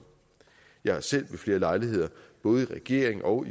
jeg har selv ved flere lejligheder både i regering og